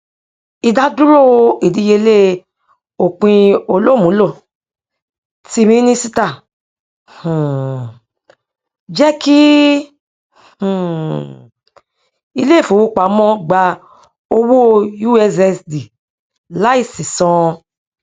ìdádúró ìdíyelé òpinolùmúlò tí mínísíta um jẹkí um ilé ìfowópamọ gbà owó ussd láìsí san